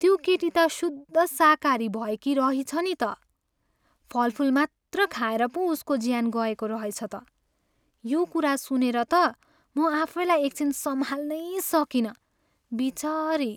त्यो केटी त शुद्ध शाकाहारी भएकी रहिछ नि त। फलफुल मात्र खाएर पो उसको ज्यान गएको रहेछ त। यो कुरा सुनेर त म आफैलाई एक छिन सम्हाल्नै सकिनँ। बिचरी!